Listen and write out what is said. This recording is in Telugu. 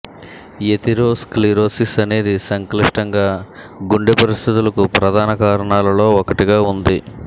ఎథెరోస్క్లెరోసిస్ అనేది సంక్లిష్టంగా గుండె పరిస్థితులకు ప్రధాన కారణాలలో ఒకటిగా ఉంది